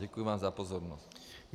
Děkuji vám za pozornost.